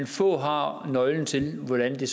få der har nøglen til hvordan det